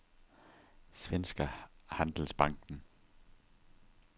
Svenska Handelsbanken